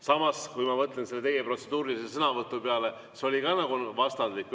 Samas, kui ma mõtlen teie protseduurilise sõnavõtu peale, siis see oli ka nagu vastandlik.